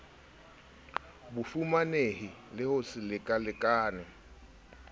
bofumanehi le ho se lekalekane